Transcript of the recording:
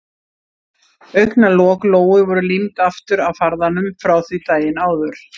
Augnalok Lóu voru límd aftur af farðanum frá því daginn áður.